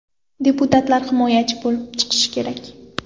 Deputatlar himoyachi bo‘lib chiqishi kerak.